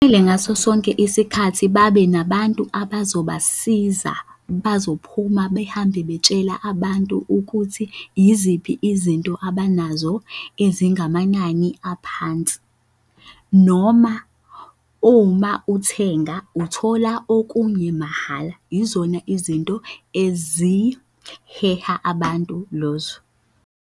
Vele ngaso sonke isikhathi babe nabantu abazobasiza bazophuma behambe betshela abantu ukuthi yiziphi izinto abanazo ezingamanani aphansi. Noma uma uthenga uthola okunye mahhala yizona izinto eziheha abantu lozo.